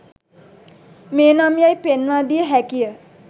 මෙනම් යැයි පෙන්වා දිය හැකිය